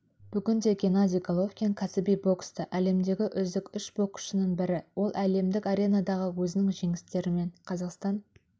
бүгінде геннадий головкин кәсіби бокста әлемдегі үздік үш боксшының бірі ол әлемдік аренадағы өзінің жеңістерімен қазақстан